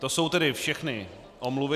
To jsou tedy všechny omluvy.